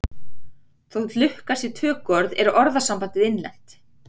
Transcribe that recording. Þótt lukka sé tökuorð er orðasambandið innlent.